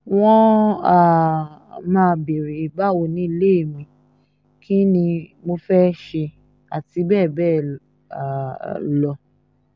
wọ́n um máa béèrè báwo nílé mi kín ni mo fẹ́ẹ́ ṣe àti bẹ́ẹ̀ bẹ́ẹ̀ um lọ